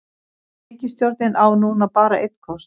Ríkisstjórnin á núna bara einn kost